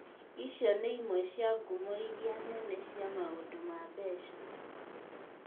Icio nĩ imwe cia ngumo iria nene cia maũndũ ma mbeca.